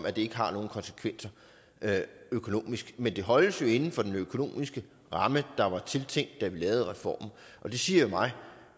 at det ikke har nogen konsekvenser økonomisk men det holdes jo inden for den økonomiske ramme der var tiltænkt da vi lavede reformen og det siger mig